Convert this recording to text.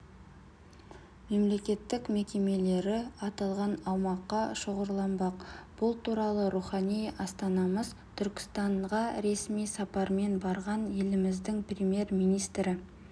мемлекеттік мекемелері аталған аумаққа шоғырланбақ бұл туралы рухани астанамыз түркістанға ресми сапармен барған еліміздің премьер-министрі